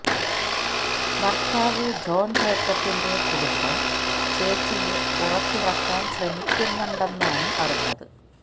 ഭർത്താവ് ജോൺ ജേക്കബിന്റെ കുടുംബം ചേച്ചിയെ പുറത്തിറക്കാൻ ശ്രമിക്കുന്നുണ്ടെന്നാണ് അറിഞ്ഞത്